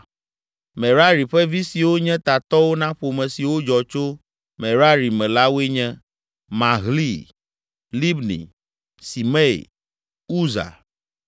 Merari ƒe vi siwo nye tatɔwo na ƒome siwo dzɔ tso Merari me la woe nye: Mahli, Libni, Simei, Uza,